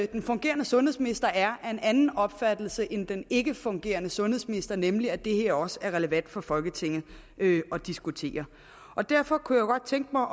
den fungerende sundhedsminister er af en anden opfattelse end den ikkefungerende sundhedsminister nemlig at det her også er relevant for folketinget at diskutere derfor kunne jeg godt tænke mig